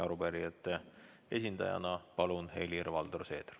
Arupärijate esindajana palun Helir-Valdor Seederi.